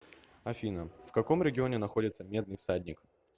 афина в каком регионе находится медный всадник